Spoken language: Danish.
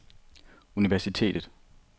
universitetet